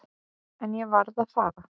En ég varð að fara.